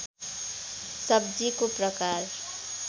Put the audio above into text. सब्जीको प्रकार